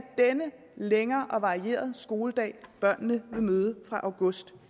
denne længere og varierede skoledag børnene vil møde fra august